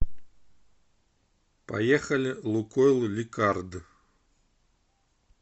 поехали лукойл ликард